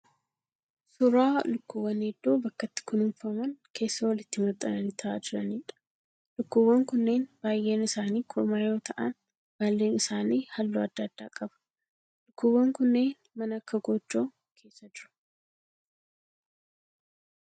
Suuraa lukkuuwwan hedduu bakka itti kunuunfaman keessa walitti maxxananii ta'aa jiraniidha. Lukkuuwwan kunneen baay'een ilaanii kormaa yoo ta'aan baalleen isaanii halluu adda addaa qaba. Lukkuuwwan kunneen mana akka gojjoo keessa jiru